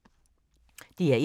DR1